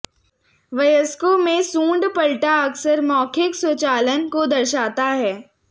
वयस्कों में सूंड पलटा अक्सर मौखिक स्वचालन को दर्शाता है